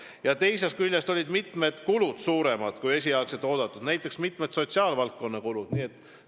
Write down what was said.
Ja teiseks olid mitmed kulud suuremad, kui esialgselt arvati, näiteks osa sotsiaalvaldkonna kulusid.